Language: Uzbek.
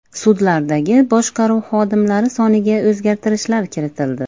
Sudlardagi boshqaruv xodimlari soniga o‘zgartishlar kiritildi.